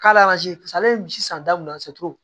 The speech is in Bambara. K'ale ale ye misi san da mun na